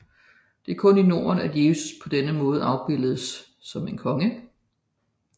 Det er kun i Norden at Jesus på denne måde afbilledes som en konge